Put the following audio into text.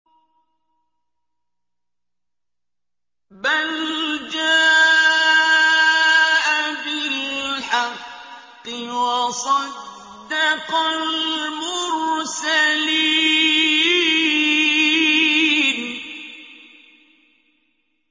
بَلْ جَاءَ بِالْحَقِّ وَصَدَّقَ الْمُرْسَلِينَ